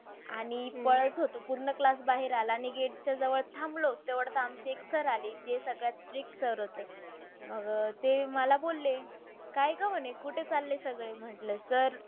आणि अह पळत होतो. पूर्ण class बाहेर आला. आणि gate च्या जवळ थांबलो. तेवढ्यात आमचे एक sir आले. जे सगळ्यात strict sir होते. मग अह ते मला बोलले काय गं? म्हणे कुठे चालले सगळे? म्हटलं sir